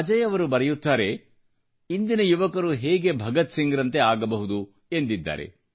ಅಜಯ್ ಅವರು ಬರೆಯುತ್ತಾರೆ ಇಂದಿನ ಯುವಕರು ಹೇಗೆ ಭಗತ್ಸಿಂಗ್ರಂತೆ ಆಗಬಹುದು ಎಂದಿದ್ದಾರೆ